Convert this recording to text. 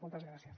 moltes gràcies